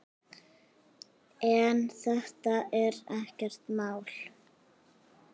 En þetta er ekkert mál.